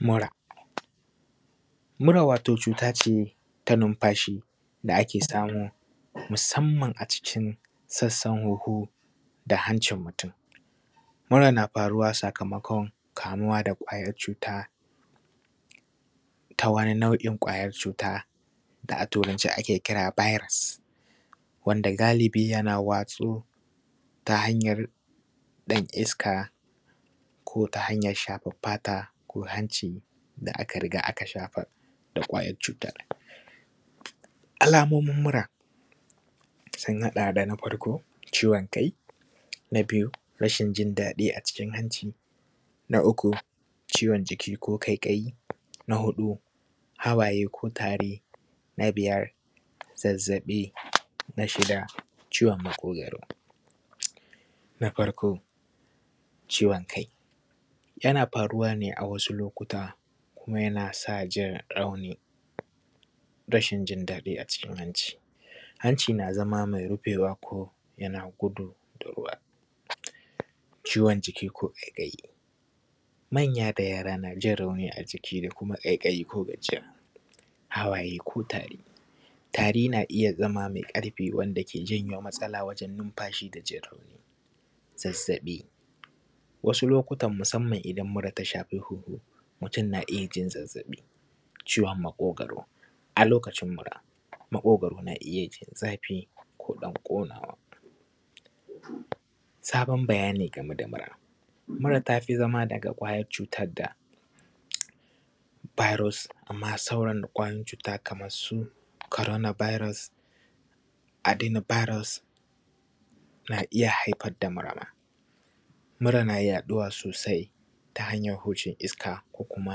Mura, mura wato cuta ce na nunfashi da ake samu musanman a cikin sassan hunhu da hancin mutum, mura na faruwa sakamakon kamuwa da kwayan cuta ta wani nau’in kwayan cuta da a Turance ake kira virus wanda galibi na watsu ta hanyan ɗan iska ko ta hanyan shafan fata ko hanci da aka riga aka shafa kwayan cutan. Alamomin mura sun haɗa da: na farko ciwon kai, na biyu rashin jin daɗi a cikin hanci, na uku ciwon jiki ko ƙaiƙayi, na huɗu hawaye ko tari, na biyar zazzaɓi, na shida ciwon maƙogaro. Na farko ciwon kai yana faruwa ne a wasu lokuta kuma yana sa rashin jin daɗi a cikin hanci, hanci na zama me ruɓewa ko yana gudu da ruwa, ciwon jiki ko ƙaikayi ma na yara da yara na jin rauni a ciki da kuma ƙaiƙayi hawaye ko tari, tari na iya zama me ƙarfi wanda ke iya janyo matsalan wajen yin nunfashi da jin rauni, zazzaɓi wasu lokutan musanman idan muran ta shafi hunhu mutum, na iya jin zazzaɓi, ciwon maƙogaro a lokacin mura. Maƙugaru na iya jin zafi ko ɗan ƙunawa saban bayani game da mura, mura tafi zama daga kwayan cutan da virus da ma sauran kwayoyin cuta Kaman su corona virus, aroma virus na iya haifar da mura ma, mura na yaɗuwa sosai ta hanyan hujin iska ko kuma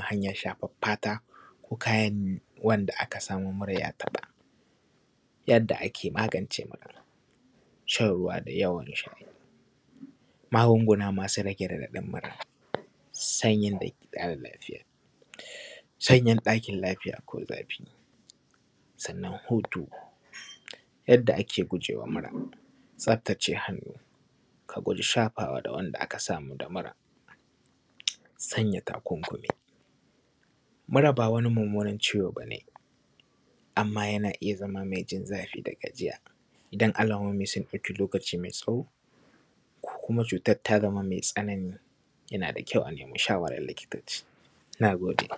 hanyan shafan fata. Yanda ake magance mura, shan ruwa da yawa, magunguna masu rage raɗaɗin mura, sanyin dake ƙara lafiya, sanyin ɗakin lafiya ko zafi sannan hutu. Yadda ake gujewa mura, tsaftace hannu a guji shafawa da wanda aka samu damura, sanya takunkumi, mura ba wani munmunan ciwo ba ne anma yana iya zama mejin zafi da gajiya idan alamomi sun ɗauki lokaci mai tsawo ko kuma cutan ta zama mai tsanani, yana da kyau a nima shawaran likitoci. Na gode.